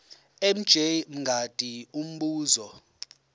mj mngadi umbuzo